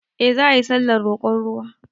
Eh za ayi sallar roƙon ruwa